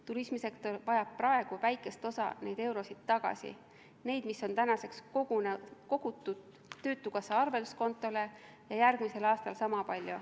Turismisektor vajab praegu väikest osa nendest tagasi, neid, mis on kogutud töötukassa arvelduskontole, ja järgmisel aastal niisama palju.